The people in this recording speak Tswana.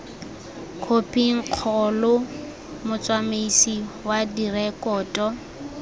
khophing kgolo motsamaisi wa direkoto